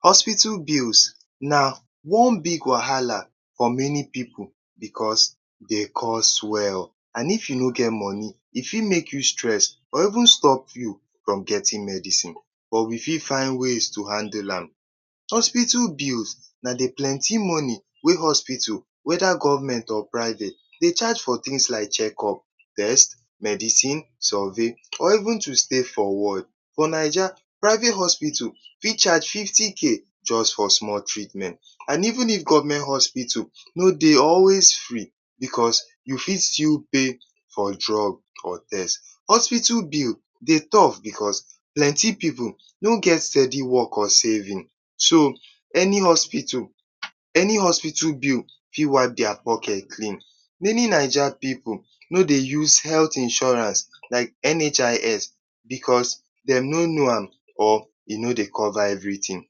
Hospital bills na one big wahala for many pipu. Beta, dey cost well. And if you no get money, if you make you get stress or even stop you from getting medicine. But, we fit find ways to handle am. Hospital bills na the plenty money wey hospital whether government or private dey charge for things like check up, test, medicine, survey or even to stay for ward. For Naija, private hospital fit charge fifty k just for small treatment and even if government hospital no dey always free because you still fit pay for drug or test. Hospital bill dey tough because plenty pipu no get steady work or savings. So, any hospital, any hospital bill fit wipe their pocket clean. Many Naija pipu no dey use health insurance like NHIS because, dem no know am or e no dey cover everything.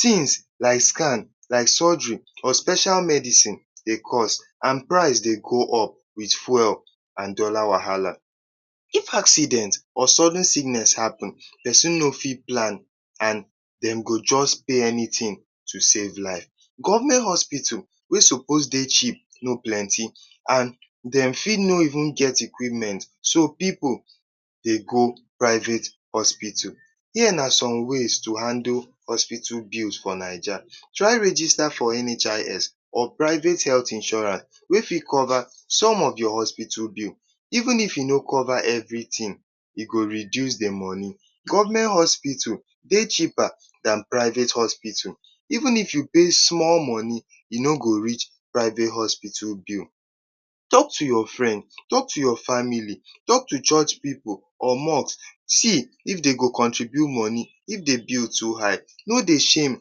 Things like scan, like surgery or special medicine dey cost. and price dey go up with fuel and dollar wahala. If accident or sudden sickness happen, pesin no fit plan and dem go just pay anything to save life. Government hospital wey suppose dey cheap no plenty. And dem fit no even get equipment so, pipu dey go private hospital. Here na some ways to handle hospital bills for Naija: • Try register for NHIS or private health insurance wey fit cover some of the hospital bills. Even if e no cover everything, e go reduce the money. • Government hospital dey cheaper than private hospitals. Even if you pay small money, e no go reach private hospital bill. • Talk to your friend, talk to family, talk to church pipu or mosque see if dey go contribute moni if the bill too high. No dey shame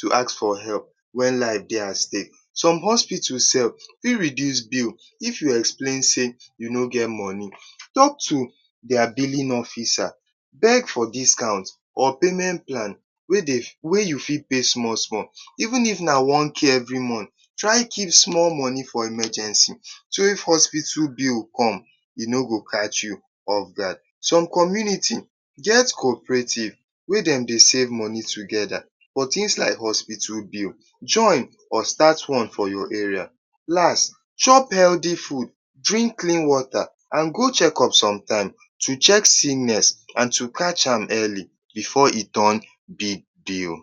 to ask for help when life dey at stake. • Hospital sef fit reduce bill if you explain say you no get money. Talk to their billing officer. Beg for discount or payment plan wey dey wey you fit pay small small. Even if na one k every month. • Try keep small money for emergency. So, if hospital bills come, e no go catch you off guard. • Some community get cooperative wey dem dey save money together for things like hospital bills. Join or start one for your area. Las, chop healthy food, drink clean water and go checkup sometimes to check seeness and to catch am early before e turn big deal.